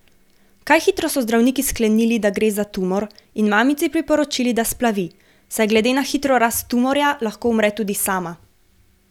Kaj hitro so zdravniki sklenili, da gre za tumor in mamici priporočili, da splavi, saj glede na hitro rast tumorja lahko umre tudi sama.